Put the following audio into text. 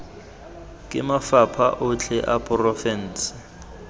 ke mafapha otlhe a porofense